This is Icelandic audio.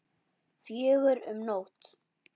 Fjögur um nótt?